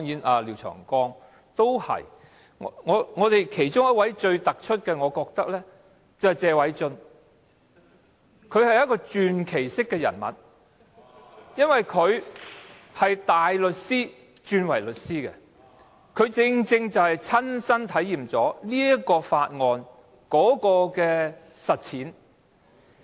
我認為最突出的要算是謝偉俊議員，他是傳奇人物，原因是他由大律師轉業為律師，正好親身體驗這項附屬法例的實踐。